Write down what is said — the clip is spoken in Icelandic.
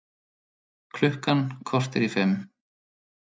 Klukkan korter í fimm